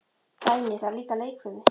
Dagný: Og það er líka leikfimi.